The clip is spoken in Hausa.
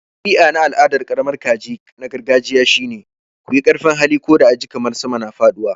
Dabi'a na al'adar karamar kaji na gargajiya shine. ku yi ƙarfin hali, ko da a ji kamar sama na faɗuwa.